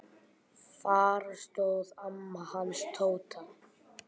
Þar stóð amma hans Tóta.